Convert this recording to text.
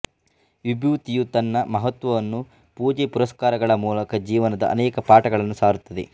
ವಿಭೂತಿಯು ತನ್ನ ಮಹತ್ವವನ್ನು ಪೂಜೆಪುರಸ್ಕಾರಗಳ ಮೂಲಕ ಜೀವನದ ಅನೇಕ ಪಾಠಗಳನ್ನು ಸಾರುತ್ತದೆ